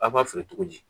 A b'a feere cogo di